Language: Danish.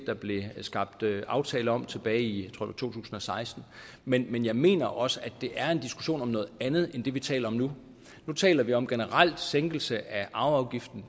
der blev skabt aftale om tilbage i to tusind og seksten men men jeg mener også at det er en diskussion om noget andet end det vi taler om nu for nu taler vi om generel sænkelse af arveafgiften